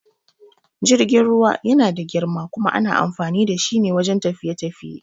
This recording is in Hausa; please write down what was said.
Jirgin ruwa yana da girma kuma ana amfani da shi wajan tafiye-tafiye